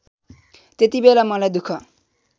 त्यतिबेला मलाई दुख